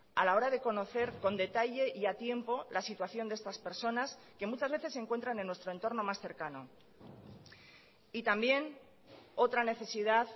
a la hora de conocer con detalle y a tiempo la situación de estas personas que muchas veces se encuentran en nuestro entorno más cercano y también otra necesidad